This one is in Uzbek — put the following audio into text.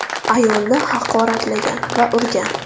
ayolni haqoratlagan va urgan.